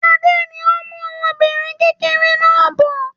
Adé ni ó ń mú ọmọbìnrin kékeré náà bọ̀.